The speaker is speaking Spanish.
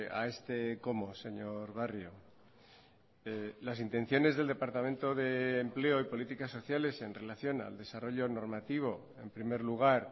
a este cómo señor barrio las intenciones del departamento de empleo y políticas sociales en relación al desarrollo normativo en primer lugar